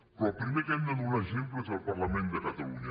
però el primer que hem de donar exemple és al parlament de catalunya